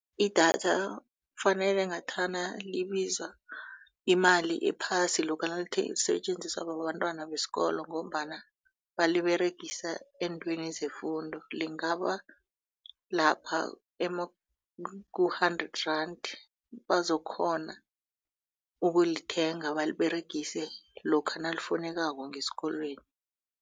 Idatha kufanele ngathana libiza imali ephasi lokha nalisetjenziswa bantwana besikolo ngombana baliberegisa eentweni zefundo lingaba lapha ku-hundred rand bazokukghona ukulithenga baliberegise lokha nalifunekako ngesikolweni.